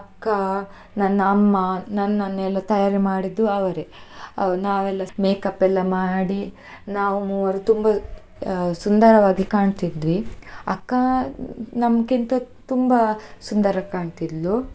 ಅಕ್ಕ, ನನ್ನ ಅಮ್ಮ, ನನ್ನನ್ನು ಎಲ್ಲಾ ತಯಾರಿ ಮಾಡಿದ್ದು ಅವರೇ. ಅವ~ ನಾವೆಲ್ಲ make up ಎಲ್ಲಾ ಮಾಡಿ ನಾವು ಮೂವರು, ಸುಂದರವಾಗಿ ಕಾಣ್ತಿದ್ವಿ, ಅಕ್ಕ ನಮ್ಕಿಂತ ತುಂಬಾ ಸುಂದರ ಕಾಣ್ತಿದ್ಲು.